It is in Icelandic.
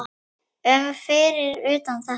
um fyrir utan þetta.